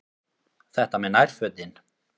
Þetta með nærfötin.